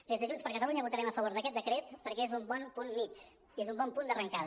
des de junts per catalunya votarem a favor d’aquest decret perquè és un bon punt mitjà i és un bon punt d’arrencada